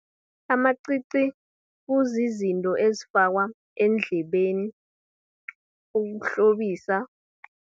Amacici, kuzizinto ezifakwa eendlebeni, ukuhlobisa.